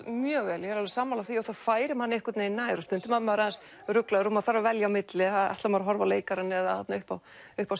mjög vel ég er alveg sammála því að það færir mann einhvern vegin nær og stundum er maður aðeins ruglaður og maður þarf að velja á milli ætlar maður að horfa á leikarann eða þarna upp á upp á